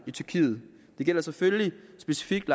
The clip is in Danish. i tyrkiet det gælder selvfølgelig specifikt